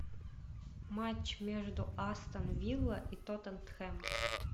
матч между астон вилла и тоттенхэм